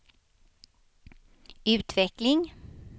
utveckling